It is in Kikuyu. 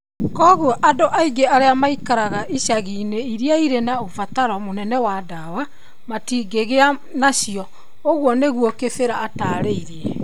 Kwoguo andũ aingĩ arĩa maikaraga icagi-inĩ iria irĩ na ũbataro mũnene wa ndawa matingĩgĩa nacio,' ũguo nĩguo Kibira ataarĩirie.